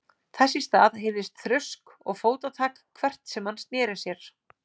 Þess í stað heyrðist þrusk og fótatak hvert sem hann sneri sér.